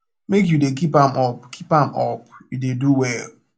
make you dey keep am up keep am up you dey do well